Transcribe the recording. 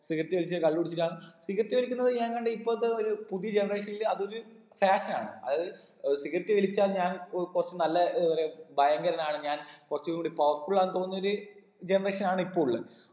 cigarette വലിച്ച് കള്ള് കുടിച്ചിട്ടാണ് cigarette വലിക്കുന്നത് ഞാൻ കണ്ടെ ഇപ്പഴത്തെ ഒരു പുതിയ generation ല് അതൊരു fashion നാണ് അത് ഏർ cigarette വലിച്ചാൻ ഞാൻ ഏർ കൊറച്ച് നല്ല ഏർ എന്താ പറയാ ഭയങ്കരനാണ് ഞാൻ കൊറച്ചും കൂടി powerful ആന്ന് തോന്നുന്നൊര് ഗമഷാണ് ഇപ്പൊ ഉള്ളെ